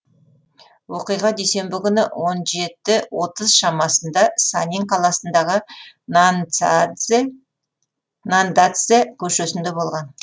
оқиға дүйсенбі күні он жеті отыз шамасында санин қаласындағы наньдацзе көшесінде болған